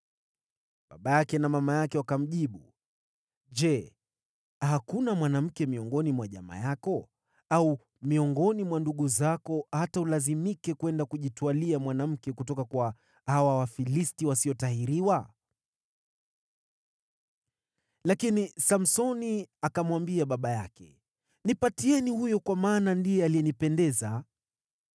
Baba yake na mama yake wakamjibu, “Je, hakuna mwanamke miongoni mwa jamaa yako au miongoni mwa ndugu zako, hata ulazimike kwenda kujitwalia mwanamke kutoka kwa hawa Wafilisti wasiotahiriwa?” Lakini Samsoni akamwambia baba yake, “Nipatieni huyo kwa maana ndiye alinipendeza.”